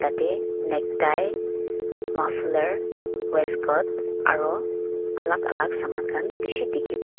tatae neck tie maflar westcoast aro alak alak saman khan bishi dikhipaiase.